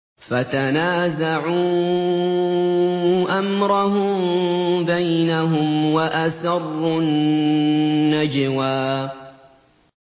فَتَنَازَعُوا أَمْرَهُم بَيْنَهُمْ وَأَسَرُّوا النَّجْوَىٰ